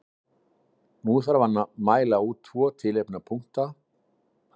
Nú þarf að mæla út tvo tiltekna punkta á langásnum, sem eru brennipunktar sporöskjunnar.